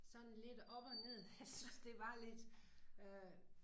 Sådan lidt op og ned jeg synes det var lidt øh